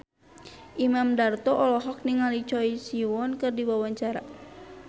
Imam Darto olohok ningali Choi Siwon keur diwawancara